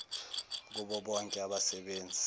kubo bonke abasebenzi